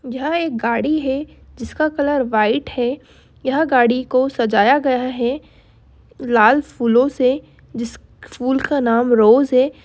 यह एक गाड़ी है जिसका कलर व्हाइट है यह गाड़ी को सजाया गया है लाल फूलों से जिस फूल का नाम रोज है।